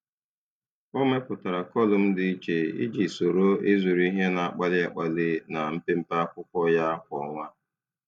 Ọ mepụtara kọlụm dị iche iji soro ịzụrụ ihe na-akpali akpali na mpempe akwụkwọ ya kwa ọnwa.